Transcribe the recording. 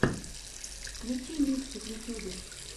включи миксы в ютьюбе